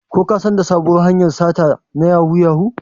Ko kasan da sabuwar hanyar sata na yahoo yahoo?